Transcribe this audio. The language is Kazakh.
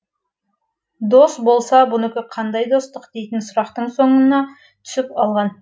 дос болса бұнікі қандай достық дейтін сұрақтың соңына түсіп алған